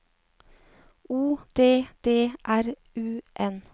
O D D R U N